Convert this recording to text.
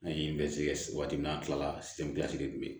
An ye bɛ se ka waati min na an kilala de kun bɛ ye